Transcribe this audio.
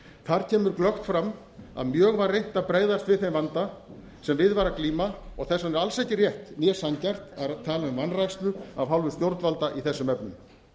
þar kemur glöggt fram að mjög var reynt að bregðast við þeim vanda sem við var að glíma og þess vegna er alls ekki rétt né sanngjarnt að tala um vanrækslu af hálfu stjórnvalda í þessum efnum